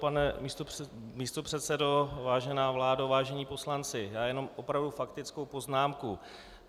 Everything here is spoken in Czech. Pane místopředsedo, vážená vládo, vážení poslanci, já jenom opravdu faktickou poznámku.